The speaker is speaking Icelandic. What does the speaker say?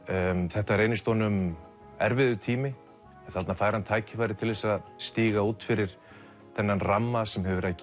þetta reynist honum erfiður tími en þarna fær hann tækifæri til þess að stíga út fyrir þennan ramma sem hefur verið að